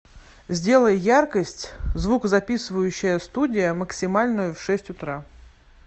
сделай яркость звукозаписывающая студия максимальную в шесть утра